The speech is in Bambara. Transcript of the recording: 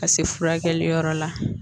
Ka se furakɛli yɔrɔ la